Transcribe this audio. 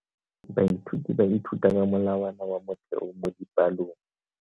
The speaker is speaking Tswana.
Baithuti ba ithuta ka molawana wa motheo mo dipalong.